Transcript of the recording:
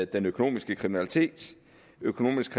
den økonomiske kriminalitet økonomisk